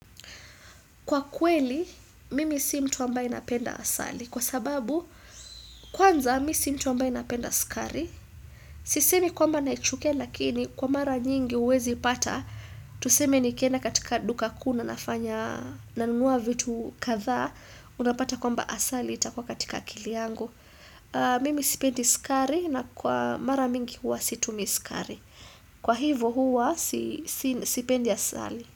Kwa kweli, mimi si mtu ambaye napenda asali. Kwa sababu, kwanza, mimi si mtu ambaye napenda sukari. Sisemi kwamba naichukia lakini, kwa mara nyingi huwezi pata. Tuseme nikienda katika duka kuu na nafanya nanunua vitu kadaa. Unapata kwamba asali itakua katika akili yangu. Mimi sipendi sukari na kwa mara mingi huwa situmii sukari. Kwa hivo huwa, sipendi asali.